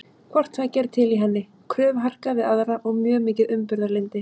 Hvort tveggja er til í henni, kröfuharka við aðra og mjög mikið umburðarlyndi.